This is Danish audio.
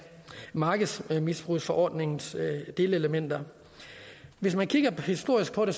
markedsmisbrugsforordningens delelementer hvis man kigger historisk på det